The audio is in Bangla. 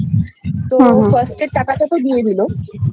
ছোট মেয়ে তো Firstএ টাকাটা তো দিয়ে দিলো